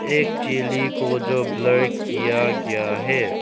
एक चिली को जो ब्लर किया गया है।